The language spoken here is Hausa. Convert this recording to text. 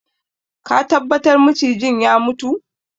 Are you sure the snake is dead